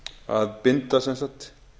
að binda sem sagt